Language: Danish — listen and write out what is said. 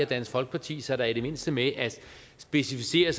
dansk folkeparti sig da i det mindste med at specificere